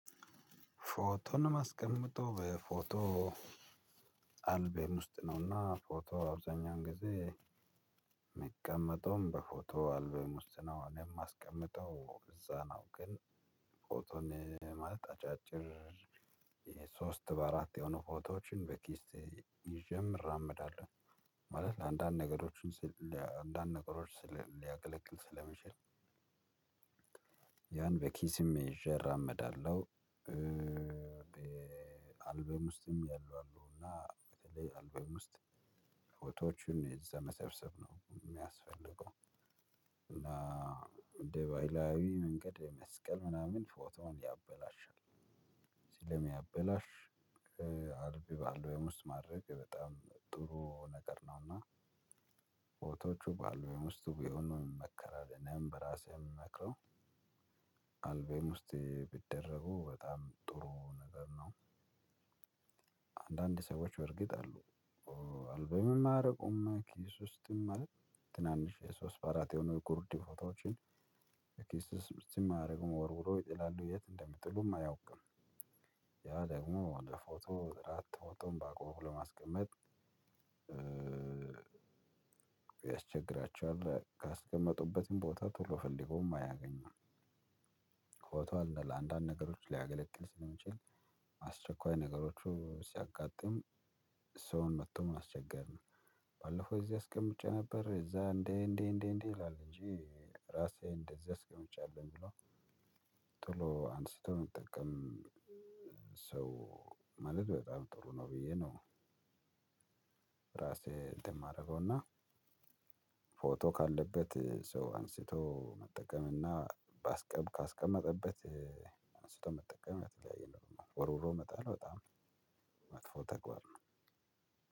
ፎቶን የማስቀምጠው በፎቶ አልበም ውስጥ ነውና ፎቶ አብዛኛውን ጊዜ የሚቀመጠውም በፎቶ አልበም ውስጥ ነው። እኔ የማስቀምጠው እዛ ነው። ግን ፎቶን ማለት አጫጭር የሶስት በአራት የሆኑ ፎቶዎችን በኪሴ ይዤም እራመዳለሁ ማለት ለአንዳንድ ነገሮችን ለአንዳንድ ነገሮች ስለ ሊያገለግል ስለመቻል ያን በኪስም ይዤ እራመዳለሁ። አልበም ውስጥ ያሉ አሉ እና በተለይ አልበም ውስጥ ፎቶዎችን እዛ መሰብሰብ ነው እሚያስፈልገው። እና በባህላዊ መንገድ የመስቀል ምናምን ፎቶውን ያበላሻል። ስለ ሚያበላሽ አልበም ወይም ውስጥ ማድረግ በጣም ጥሩ ነገር ነው። እና ፎቶዎቹ በአልበም ውስጥ ቢሆኑ ይመከራል እኔም በራሴ ምመክረው። አልበም ውስጥ ቢደረጉ በጣም ጥሩ ነገር ነው። አንዳንድ ሰዎች እርግጥ አሉ። አልበምም አያረጉማ ኪስ ውስጥም ማለት ትናንሽ የሶስት በአራት የሆነው ጉርዲ ፍሮታዎችን ኪስ ውስጥም ኣያደርጉም ወርውረው ይጥላሉ የት እንደሚጥሉም አያውቅም። ያ ደግሞ ለ ፎቶ በአግባቡ ለማስቀመጥ ያስቸግራችኋል ካስቀመጡበትም ቦታ ቶሎ ፈልገውም አያገኝም። ፎቶ አለ ለአንዳንድ ነገሮች ሊያገለግል ስለሚችል አስቸኳይ ነገሮች ሲያጋጥም ሰውን መጥቶ ማስቸገር ነው። ባለፈው እዚህ አስቀምጬ ነበር እዛ እንዴ እንዴ እንዴ እንዴ ይላል እንጂ ራሴ እንደዚህ አስቀምጫለሁ ብሎ። ቶሎ አንስቶ መጠቀም ሰው ማለት በጣም ጥሩ ነው ብዬ ነው። ራሴ እንትን የማደርገው እና ፎቶ ካለበት ሰው አንስቶ መጠቀም እና ባስቀም ካስቀመጠበት አንስቶ መጠቀም የተለያየ ነው። ወርውሮ መጣል በጣም መጥፎ ተግባር ነው።